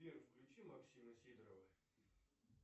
сбер включи максима сидорова